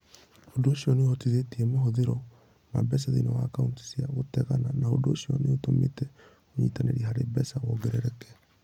Ũndũ ũcio nĩ ũhutĩtie mahũthĩro ma mbeca thĩinĩ wa akaunti cia gũtegana, na ũndũ ũcio nĩ ũtũmĩte ũnyitanĩri harĩ mbeca wongerereke.